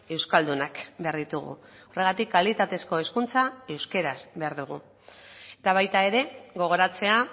euskaldunak behar ditugu horregatik kalitatezko hezkuntza euskaraz behar dugu eta baita ere gogoratzea